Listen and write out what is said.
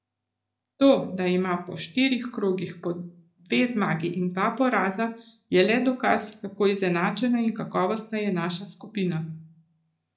To, da ima po štirih krogih po dve zmagi in dva poraza, je le dokaz, kako izenačena in kakovostna je naša skupina.